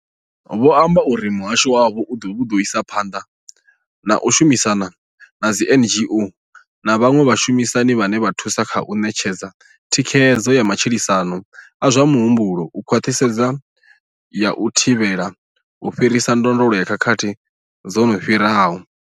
Vho amba uri muhasho wavho u ḓo isa phanḓa na u shumisana na dzi NGO na vhaṅwe vhashumisani vhane vha thusa kha u ṋetshedza thikhedzo ya matshilisano a zwa muhumbulo nga khwaṱhisedzo ya u thivhela u fhirisa ndondolo ya khakhathi dzo no fhiraho.